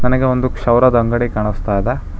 ನನಗೆ ಒಂದು ಶೌರ್ಯದ ಅಂಗಡಿ ಕಾಣಿಸ್ತಾಇದೆ.